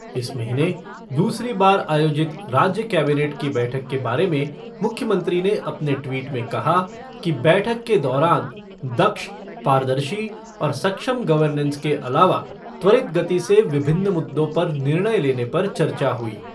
इस महीने दूसरी बार आयोजित राज्य केबिनेट की बैठक के बारे में मुख्यमंत्री ने अपने ट्वीट में कहा कि बैठक के दौरान दक्ष, पारदर्शी और सक्षम गवर्नेस के अलावा त्वरित गति से विभिन्न मुद्दों पर निर्णय लेने पर चर्चा हुई।